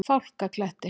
Fálkakletti